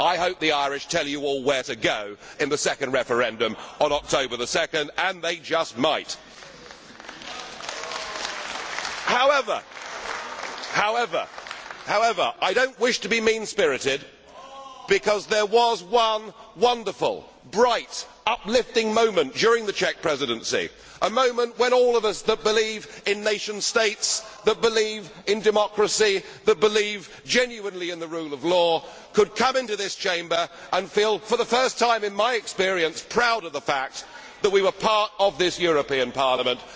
I hope the Irish tell you all where to go in the second referendum on 2 October and they just might! However, I do not wish to be mean spirited, because there was one wonderful, bright, uplifting moment during the Czech Presidency, a moment when all of us that believe in nation states, that believe in democracy, that believe genuinely in the rule of law could come into this Chamber and feel for the first time in my experience proud of the fact that we were part of this European Parliament.